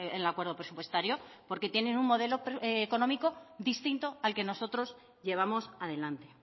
el acuerdo presupuestario porque tienen un modelo económico distinto al que nosotros llevamos adelante